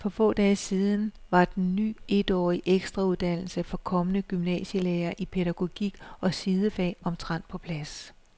For få dage siden var den ny etårige ekstrauddannelse for kommende gymnasielærere i pædagogik og sidefag omtrent på plads.